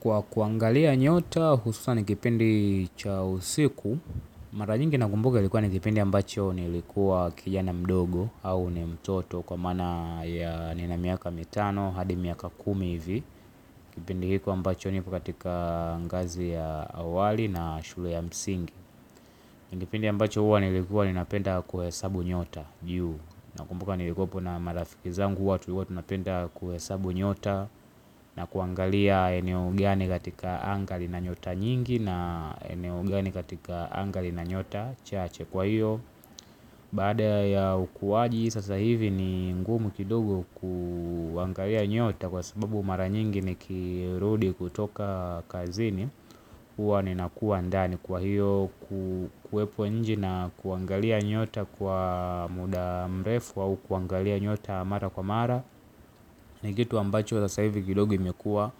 Kwa kuangilia nyota, hususa nikipindi cha usiku, mara nyingi nakumbuka nikiwa ni kipindi ambacho nilikua kijana mdogo au nimtoto kwa maana ya nina miaka mitano hadi miaka kumi hivi, kipindi hiko ambacho niko katika ngazi ya awali na shule ya msingi. Ni ngipindi ambacho huwa nilikuwa ninapenda kuhesabu nyota. Na kumbuka nilikuwapo na marafiki zangu huwa tunapenda kuhe sabu nyota. Na kuangalia eneo gani katika anga lina nyota nyingi na eneo gani katika angali na nyota chache kwa hiyo baada ya ukuwaji, sasa hivi ni ngumu kidogo kuangalia nyota kwa sababu mara nyingi ni kirudi kutoka kazini, huwa ninakua ndani kwa hiyo kuwepo nje na kuangalia nyota kwa muda mrefu au kuangalia nyota mara kwa mara, ni kitu ambacho sasa hivi gidogo imekua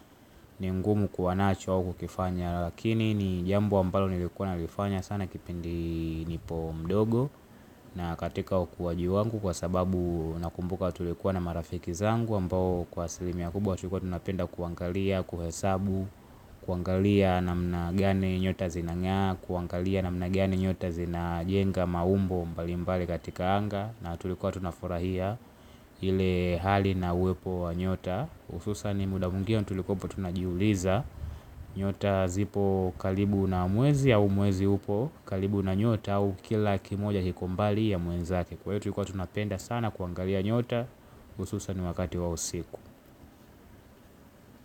ni ngumu kuwa nacho au kukifanya. Lakini ni jambo ambalo nilikuwa nalifanya sana kipindi nipo mdogo. Na katika wa ukuwaji wangu kwa sababu, nakumbuka tulikuwa na marafiki zangu ambao, kwa asilimia kubwa tulikuwa tunapenda kuangalia, kuhesabu kuangalia namna gani nyota zinangaa, kuangalia na mna gani nyota zina jenga maumbo mbalimbali katika anga na tulikuwa tunafurahia ile hali na uwepo wa nyota, hususa ni muda mwingine tulikuwa apo tunajiuliza nyota zipo kalibu na mwezi au mwezi upo kalibu na nyota au kila kimoja kiko mbali ya mwenzake. Kwa hiyo tulikuwa tunapenda sana kuangalia nyota ususa ni wakati wa usiku.